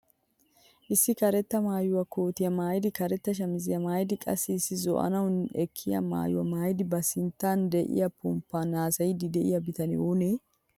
Issi karetta maayuwaa kootiyaa maayidi karetta shamisiyaa maayidi qassi issi zo'anaani ekkiyaa maayuwaa maayidi ba sinttan de'iyaa pomppan hasayiidi de'iyaa bitanee oonee?